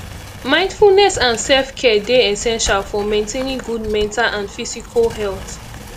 mindfulness and selfcare dey essential for maintaining good mental and physical health